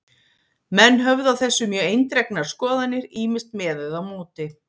Menn höfðu á þessu mjög eindregnar skoðanir, ýmist með eða á móti.